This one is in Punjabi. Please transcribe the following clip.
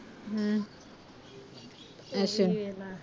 ਹਮ ਅੱਛਾ